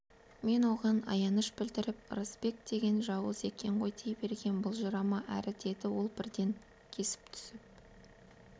мен оған аяныш білдіріп ырысбек деген жауыз екен ғой дей бергем былжырама әрі деді ол бірден кесіп түсіп